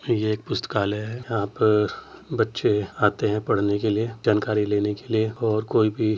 ये एक पुस्तकालय है यहाँ पर बच्चे आते है पढ़ने के लिए जानकारी लेने के लिए और कोई भी --